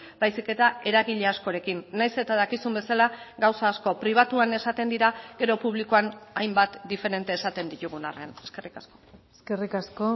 baizik eta eragile askorekin nahiz eta dakizun bezala gauza asko pribatuan esaten dira gero publikoan hainbat diferente esaten ditugun arren eskerrik asko eskerrik asko